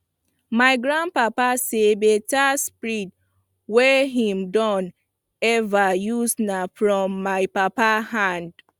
my grand papa say the beta spade wey him don ever use na from my papa hand